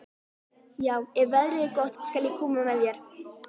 Já, ef veðrið er gott skal ég koma með þér.